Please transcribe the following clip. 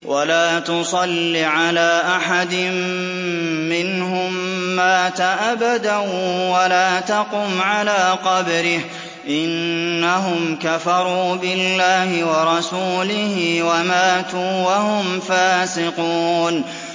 وَلَا تُصَلِّ عَلَىٰ أَحَدٍ مِّنْهُم مَّاتَ أَبَدًا وَلَا تَقُمْ عَلَىٰ قَبْرِهِ ۖ إِنَّهُمْ كَفَرُوا بِاللَّهِ وَرَسُولِهِ وَمَاتُوا وَهُمْ فَاسِقُونَ